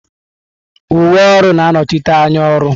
Uwe ọrụ na-anọchite anya ọrụ.